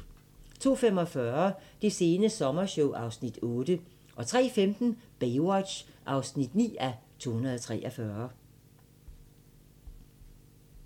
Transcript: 02:45: Det sene sommershow (Afs. 8) 03:15: Baywatch (9:243)